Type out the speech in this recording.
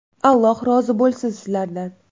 Alloh rozi bo‘lsin sizlardan.